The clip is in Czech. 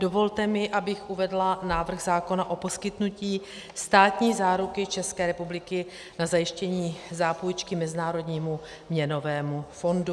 Dovolte mi, abych uvedla návrh zákona o poskytnutí státní záruky České republiky na zajištění zápůjčky Mezinárodnímu měnovému fondu.